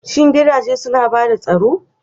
Shin gidaje suna ba da tsaro?